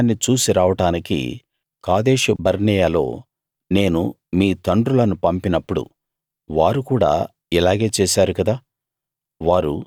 ఆ దేశాన్ని చూసి రావడానికి కాదేషు బర్నేయలో నేను మీ తండ్రులను పంపినప్పుడు వారు కూడా ఇలాగే చేశారు కదా